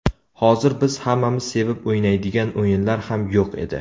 Hozir biz hammamiz sevib o‘ynaydigan o‘yinlar ham yo‘q edi.